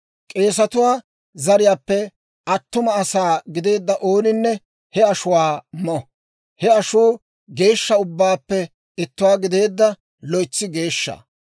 K'eesatuwaa zariyaappe attuma asaa gideedda ooninne he ashuwaa mo; he ashuu geeshsha ubbaappe ittuwaa gideedda loytsi geeshsha.